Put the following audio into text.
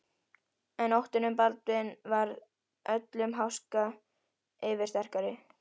En óttinn um Baldvin varð öllum háska yfirsterkari.